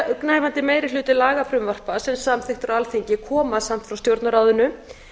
yfirgnæfandi meiri hluti lagafrumvarpa sem samþykkt eru á alþingi koma samt frá stjórnarráðinu